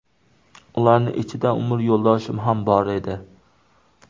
Ularning ichida umr yo‘ldoshim ham bor edi.